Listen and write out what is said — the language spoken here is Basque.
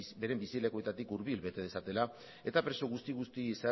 beren bizi lekuetatik hurbil bete dezatela eta preso guzti guztiek